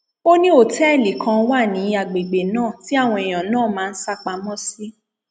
ó ní òtẹẹlì kan wà ní àgbègbè náà tí àwọn èèyàn náà máa ń sá pamọ sí